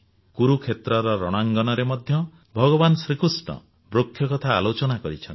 କୁରୁକ୍ଷେତ୍ରର ରଣାଙ୍ଗନରେ ମଧ୍ୟ ଭଗବାନ କୃଷ୍ଣ ବୃକ୍ଷ କଥା ଆଲୋଚନା କରିଛନ୍ତି